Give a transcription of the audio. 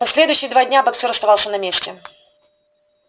последующие два дня боксёр оставался на месте